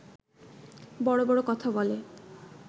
বড় বড় কথা বলে